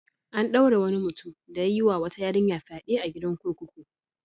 An ɗaure wani mutum da ya yi wa wata yarinya fyaɗe a gidan kurkuku.